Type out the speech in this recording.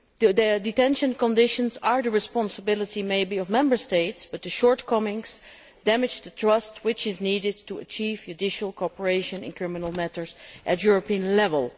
The detention conditions are perhaps the responsibility of Member States but their shortcomings damage the trust which is needed to achieve judicial cooperation in criminal matters at European level.